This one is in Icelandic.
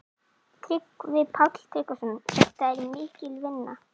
Tryggvi Páll Tryggvason: Þetta er mikil vinna?